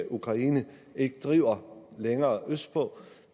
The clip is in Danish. ukraine ikke driver længere østpå